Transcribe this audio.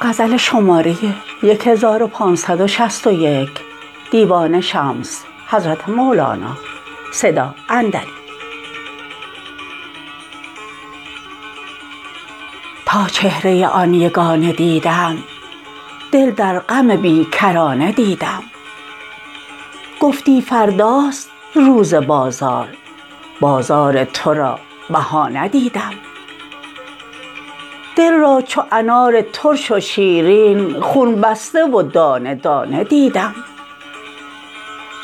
تا چهره آن یگانه دیدم دل در غم بی کرانه دیدم گفتی فرداست روز بازار بازار تو را بهانه دیدم دل را چو انار ترش و شیرین خون بسته و دانه دانه دیدم